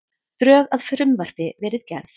Drög að frumvarpi verið gerð